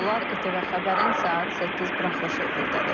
ATV xəbərin saat 8 buraxılışı efirdədir.